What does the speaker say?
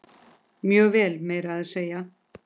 Mjög vel, meira að segja.